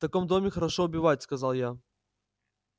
в таком доме хорошо убивать сказал я